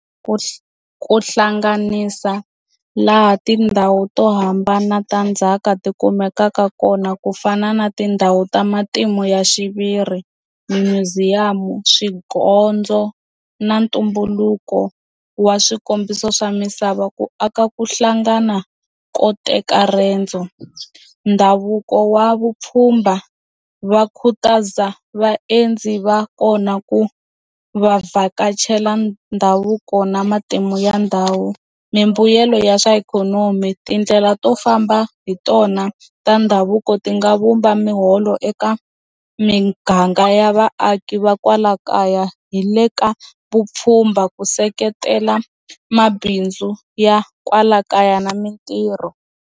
Ku hlanganisa laha tindhawu to hambana ta ndzhaka ti kumekaka kona ku fana na tindhawu ta matimu ya xiviri museum swigondzo na ntumbuluko wa swikombiso swa misava ku aka ku hlangana ko teka riendzo ndhavuko wa vupfhumba va khutaza vaendzi va kona ku va vhakachela ndhavuko na matimu ya ndhawu mimbuyelo ya swa ikhonomi tindlela to famba hi tona ta ndhavuko ti nga vumba miholo eka miganga ya vaaki va kwala kaya hi le ka vupfhumba ku seketela mabindzu ya kwala kaya na mintirho.